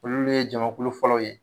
Olu ye jamukulu fɔlɔ ye